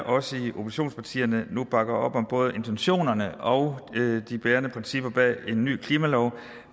os i oppositionspartierne nu bakker op om både intentionerne og de bærende principper bag en ny klimalov